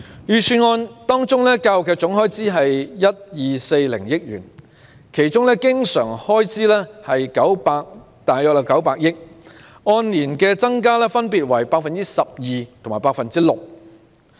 預算案的教育總開支是 1,240 億元，經常開支約為900億元，按年增幅分別為 12% 及 6%。